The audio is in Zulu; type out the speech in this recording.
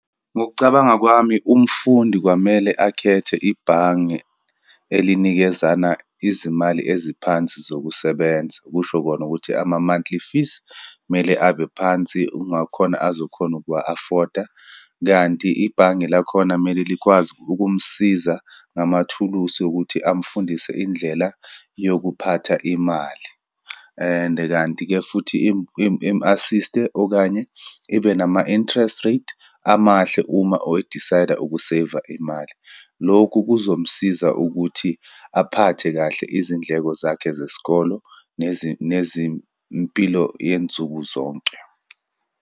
Ngokucabanga kwami, umfundi kwamele akhethe ibhange elinikezana izimali eziphansi zokusebenza, kusho kona ukuthi ama-monthly fees, kumele abe phansi ukungakhona azokhona ukuwa-afford-a. Kanti ibhange lakhona kumele likwazi ukumsiza ngamathuluzi wokuthi amfundise indlela yokuphatha imali. And kanti-ke futhi imu-assist-e, okanye ibe nama-interest rate amahle uma or e-decide-a ukuseyiva imali. Lokhu kuzomsiza ukuthi aphathe kahle izindleko zakhe zesikolo nezimpilo yensuku zonke.